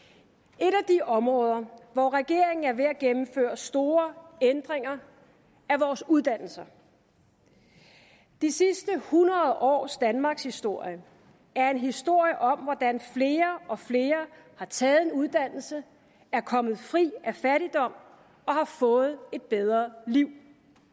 et områder hvor regeringen er ved at gennemføre store ændringer er vores uddannelser de sidste hundrede års danmarkshistorie er en historie om hvordan flere og flere har taget en uddannelse er kommet fri af fattigdom og har fået et bedre liv